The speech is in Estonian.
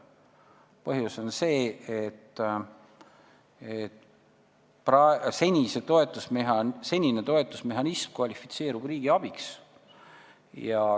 Põhjus on see, et senine toetusmehhanism kvalifitseerub riigiabiks.